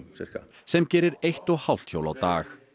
sem gerir eitt og hálft hjól á dag